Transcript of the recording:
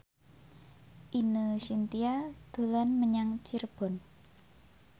Ine Shintya dolan menyang Cirebon